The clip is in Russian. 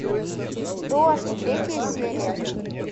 дождь третья серия